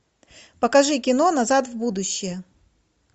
покажи кино назад в будущее